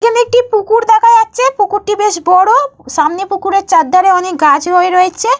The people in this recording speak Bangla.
এখানে একটি পুকুর দেখা যাচ্ছে। পুকুরটি বেশ বড়। সামনে পুকুরের চারধারে অনেক গাছ হয়ে রয়েছে।